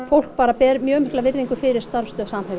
fólk bara ber mjög mikla viriðngu fyrir starfsstöð Samherja